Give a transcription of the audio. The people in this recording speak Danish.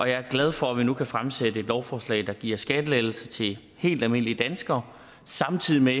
jeg er glad for at vi nu kan fremsætte et lovforslag der giver skattelettelser til helt almindelige danskere samtidig med